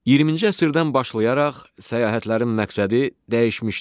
20-ci əsrdən başlayaraq səyahətlərin məqsədi dəyişmişdi.